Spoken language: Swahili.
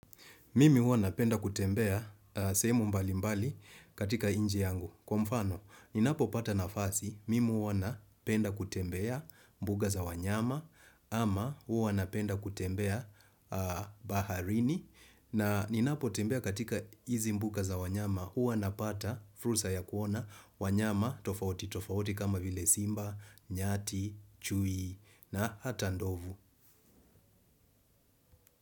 Mimi huwa napenda kutembea semu mbali mbali katika inji yangu. Kwa mfano, ninapo pata nafasi, mimi wanapenda kutembea mbuga za wanyama, ama wana penda kutembea baharini. Na ninapo tembea katika hizi mbuga za wanyama, wana pata fursa ya kuona, wanyama, tofauti, tofauti kama vile simba, nyati, chui, na hata ndovu.